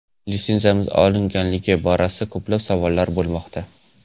Litsenziyamiz olinganligi borasida ko‘plab savollar bo‘lmoqda.